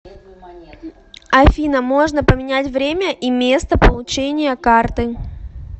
афина можно поменять время и место получения карты